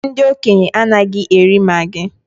Ụfọdụ ndị okenye anaghị eri maggi